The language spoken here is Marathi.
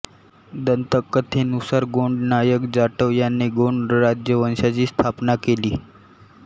दंतकथेनुसार गोंड नायक जाटव यांने गोंड राजवंशाची स्थापना केली